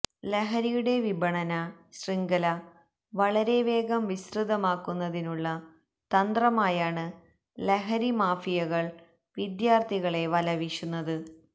ലഹരിയുടെ വിപണന ശൃംഖല വളരെ വേഗം വിസ്തൃതമാക്കുന്നതിനുള്ള തന്ത്രമായാണ് ലഹരി മാഫിയകള് വിദ്യാര്ഥികളെ വല വീശുന്നത്